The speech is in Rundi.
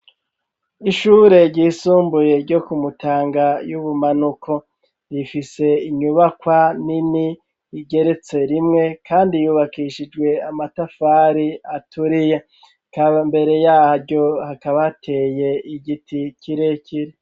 Ishure ryisumbuye ryo ku Mutanga y'ubumanuko rifise inyubakwa nini igeretse rimwe kandi yubakishijwe amatafari aturiye ikabs mbere yaryo hakaba hateye igiti kirekire.